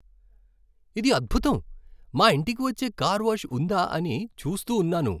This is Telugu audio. ఇది అద్భుతం! మా ఇంటికి వచ్చే కార్ వాష్ ఉందా అని చూస్తూ ఉన్నాను.